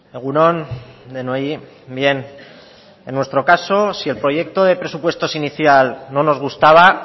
egun on denoi bien en nuestro caso si el proyecto de presupuestos inicial no nos gustaba